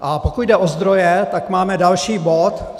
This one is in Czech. A pokud jde o zdroje, tak máme další bod.